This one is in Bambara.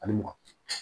Ani mugan